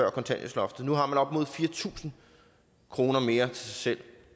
af kontanthjælpsloftet nu har man opnået fire tusind kroner mere til selv